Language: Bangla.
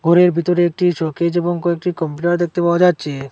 ঘরের ভিতরে একটি শকেজ এবং কয়েকটি কম্পিউটার দেখতে পাওয়া যাচ্ছে।